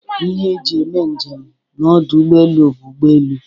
Ihe e ji eme njem n' ọdụ ụgbọelu bụ ụgbọelu.